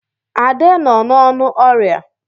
Ade nọ n'ọnụ ọrịa.